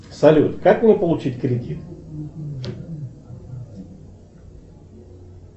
салют как мне получить кредит